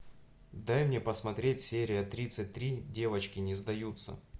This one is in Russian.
дай мне посмотреть серия тридцать три девочки не сдаются